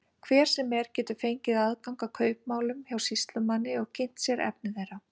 Hver sem er getur fengið aðgang að kaupmálum hjá sýslumanni og kynnt sér efni þeirra.